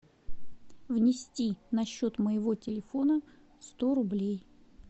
внести на счет моего телефона сто рублей